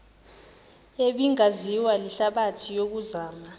ebingaziwa lihlabathi yokuzama